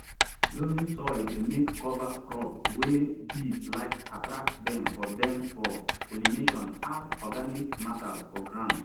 loamy soil dey make cover crop wey bees like attract dem for dem for pollination add organic matter for ground